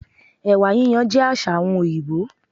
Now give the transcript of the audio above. Èwà yíyan jé àsà àwon òyìbó